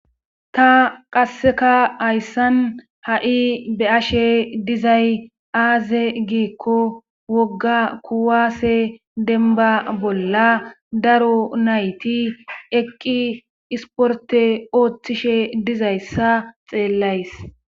ta qasseka hayssan ha7i be ashe dizay aaze giikko wogga kuwaase denba bolla daro nayti eqqi isporte ooththishe dizayssa xeellays